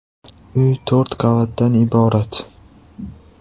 Uy to‘rt qavatdan iborat.